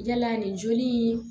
Yala nin joli in